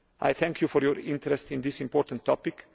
Thank you for your interest in this important topic.